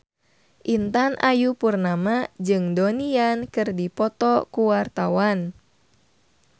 Intan Ayu Purnama jeung Donnie Yan keur dipoto ku wartawan